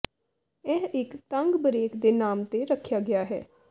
ਇਹ ਇਕ ਤੰਗ ਬਰੇਕ ਦੇ ਨਾਮ ਤੇ ਰੱਖਿਆ ਗਿਆ ਹੈ